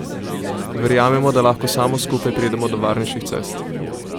Verjamemo, da lahko samo skupaj pridemo do varnejših cest.